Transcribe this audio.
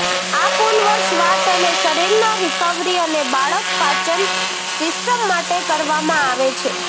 આ પુનર્વસવાટ અને શરીરના રિકવરી અને બાળક પાચન સિસ્ટમ માટે કરવામાં આવે છે